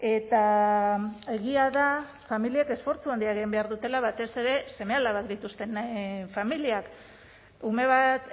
eta egia da familiek esfortzu handia egin behar dutela batez ere seme alabak dituzten familiak ume bat